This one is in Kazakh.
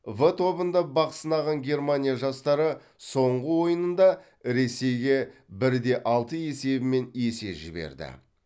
в тобында бақ сынаған германия жастары соңғы ойынында ресейге бір де алты есебімен есе жіберді